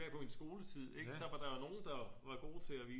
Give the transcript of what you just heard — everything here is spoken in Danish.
På min skoletid ikke så var der jo nogen der var gode til at vise